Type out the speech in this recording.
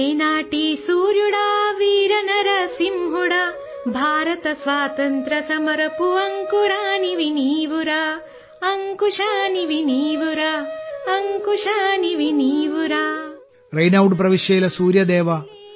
റെയ്നൌഡ് പ്രവിശ്യയിലെ സൂര്യദേവാ